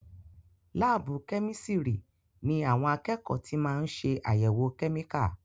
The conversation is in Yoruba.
Láàbù kẹ́mísirì ní àwọn akẹ́kọ̀ọ́ tí máa ń ṣé àyèwò kẹ́míkà.